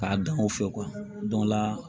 K'a dan o fɛ o la